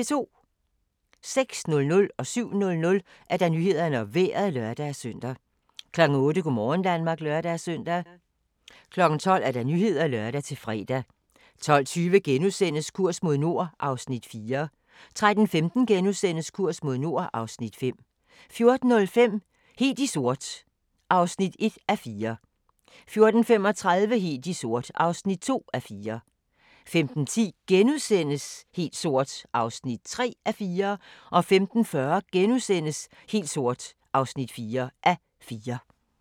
06:00: Nyhederne og Vejret (lør-søn) 07:00: Nyhederne og Vejret (lør-søn) 08:00: Go' morgen Danmark (lør-søn) 12:00: Nyhederne (lør-fre) 12:20: Kurs mod nord (Afs. 4)* 13:15: Kurs mod nord (Afs. 5)* 14:05: Helt sort (1:4) 14:35: Helt sort (2:4) 15:10: Helt sort (3:4)* 15:40: Helt sort (4:4)*